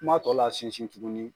Kuma tɔ lasinsin tuguni